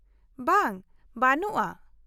-ᱵᱟᱝ, ᱵᱟᱹᱱᱩᱜᱼᱟ ᱾